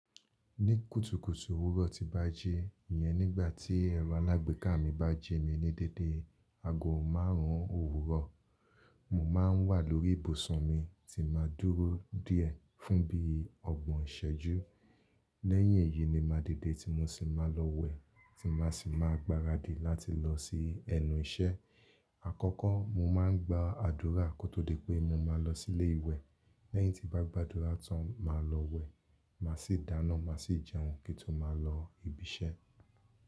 Ní kùtùkùtù òwúrọ̀ tí bá ji, ìyẹn nígbà tí ẹ̀rọ alágbèéká mi bá jẹ́ mi ní dédé ago márùn ún òwúrọ̀, mo máa ń wà lórí ìbùsùn mi tí màá dúró díẹ̀ fún bí ọgbọ̀n iṣẹ́jú. Lẹ́yìn èyí ni ma didé tí mo sì máa lọ wẹ̀ tí màá sì máa gbaradì láti lọ sí ẹnu iṣẹ́. Àkọ́kọ́ mo máa ń gba àdúrà kó tó di pé mo máa lọ sílé ìwẹ̀. Lẹ́yìn tí bá gba àdúrà tán máa lọ wẹ̀, màá sì dáná, màá sì jẹun kí n tó máa lọ ibi iṣẹ́.